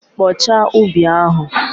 Kpochaa ubi ahụ!